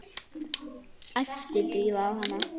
æpti Drífa á hana.